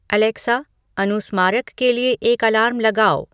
Alexa अनुस्मारक के लिए एक अलार्म लगाओ